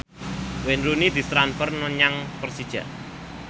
Wayne Rooney ditransfer menyang Persija